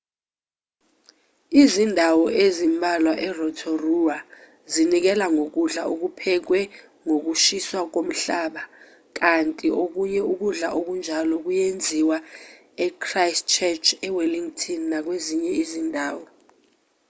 izindawo ezimbalwa e-rotorua zinikela ngokudla okuphekwe ngokushisa komhlaba kanti okunye ukudla okunjalo kuyenziwa e-christchurch e-wellington nakwezinye izindawo